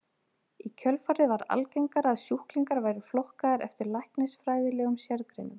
Í kjölfarið varð algengara að sjúklingar væru flokkaðir eftir læknisfræðilegum sérgreinum.